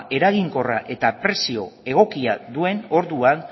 eraginkorra eta prezio egokia duen orduan